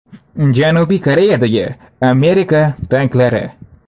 Janubiy Koreyadagi Amerika tanklari.